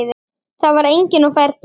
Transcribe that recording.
Það var enginn á ferli.